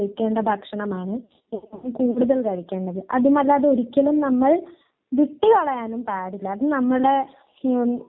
അല്ലാ ഇപ്പൊ എന്തോന്ന് ആൻസീടെ അമ്മ അമ്മ സസ്യഭുക്ക് അങ്ങനെ വല്ലതുമാണോ